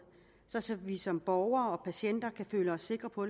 sådan at vi som borgere og patienter kan føle os sikre på